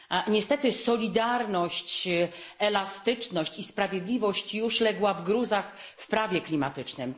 Niestety solidarność, elastyczność i sprawiedliwość legły już w gruzach w prawie klimatycznym.